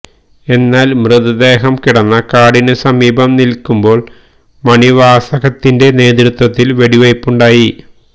എന്നാൽ മൃതദേഹം കിടന്ന കാടിനു സമീപം നിൽക്കുമ്പോൾ മണിവാസകത്തിന്റെ നേതൃത്വത്തിൽ വെടിവയ്പുണ്ടായി